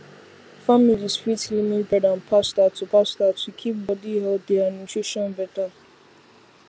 families fit limit bread and pasta to pasta to keep body healthy and nutrition better